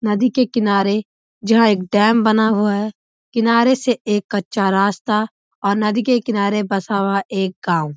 नदी के किनारे जहाँ एक डैम बना हुआ है किनारे से एक कच्चा रास्ता और नदी के किनारे बस हुआ एक गाँव।